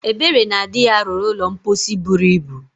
Ebere na di ya rụrụ ụlọ mposi buru ibu.